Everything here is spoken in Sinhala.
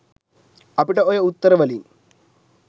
අපිට ඔය උත්තර වලින්